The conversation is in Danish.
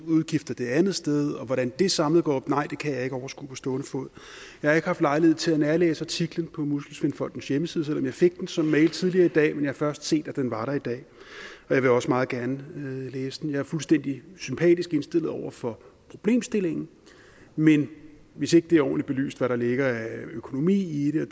udgifter det andet sted og nej hvordan det samlet går op kan jeg ikke overskue på stående fod jeg har ikke haft lejlighed til at nærlæse artiklen på muskelsvindfondens hjemmeside selv om jeg fik den som mail tidligere i dag men jeg har først set at den var der i dag og jeg vil også meget gerne læse den jeg er fuldstændig sympatisk indstillet over for problemstillingen men hvis ikke det er ordentligt belyst hvad der ligger af økonomi i det